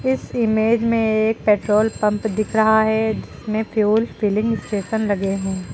इस इमेज में एक पेट्रोल पंप दिख रहा है जिसमें फ्यूल फिलिंग स्टेशन लगे हैं।